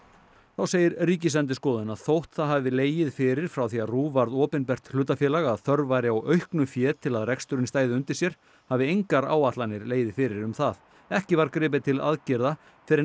þá segir Ríkisendurskoðun að þótt það hafi legið fyrir frá því að RÚV varð opinbert hlutafélag að þörf væri á auknu fé til að reksturinn stæði undir sér hafi engar áætlanir legið fyrir um það ekki var gripið til aðgerða fyrr en